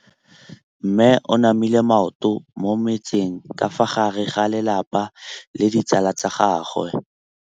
Mme o namile maoto mo mmetseng ka fa gare ga lelapa le ditsala tsa gagwe.